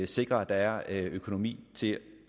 sikre at der er økonomi til